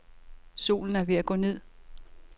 Solen er ved at gå ned.